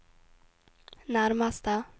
nærmeste